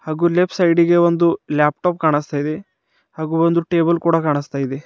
ಹಾಗೂ left side ಗೆ ಒಂದು ಲ್ಯಾಪ್ಟಾಪ್ ಕಾಣಿಸ್ತಾ ಇದೆ ಹಾಗೂ ಒಂದು ಟೇಬಲ್ ಕೊಡೊ ಕಾಣಿಸ್ತಾ ಇದೆ.